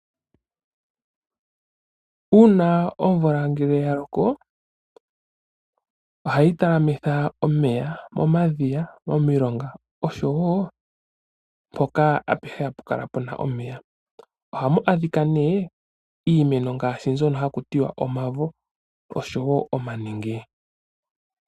Uuna omvula ngele ya loko, ohayi talamitha omeya momadhiya, momilonga oshowo mpoka apehe hapu kala puna omeya. Ohamu adhika nee iimeno ngaashi mbyono haku tiwa omavo oshowo omanenge.